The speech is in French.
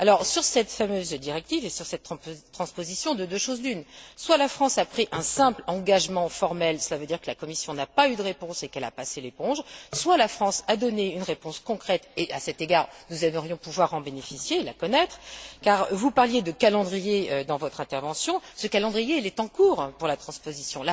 Sur cette fameuse directive et sur cette transposition, de deux choses l'une soit la France a pris un simple engagement formel, cela veut dire que la Commission n'a pas eu de réponse et qu'elle a passé l'éponge, soit la France a donné une réponse concrète et à cet égard, nous aimerions pouvoir en bénéficier et la connaître car vous parliez de calendrier dans votre intervention, ce calendrier est en cours pour la transposition.